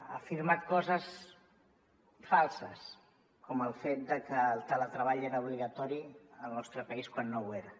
ha afirmat coses falses com el fet de que el teletreball era obligatori al nostre país quan no ho era